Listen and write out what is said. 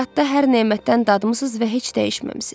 Həyatda hər nemətdən dadmısız və heç dəyişməmisiz.